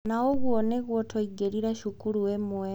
Na ũguo nĩguo twaingĩrire cukuru ĩmwe.